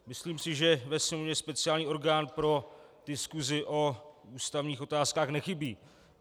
Myslím si, že ve Sněmovně speciální orgán pro diskusi o ústavních otázkách nechybí.